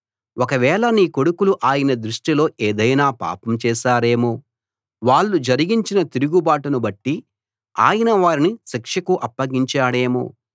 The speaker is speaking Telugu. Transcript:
ఒకవేళ నీ కొడుకులు ఆయన దృష్టిలో ఏదైనా పాపం చేశారేమో వాళ్ళు జరిగించిన తిరుగుబాటును బట్టి ఆయన వారిని శిక్షకు అప్పగించాడేమో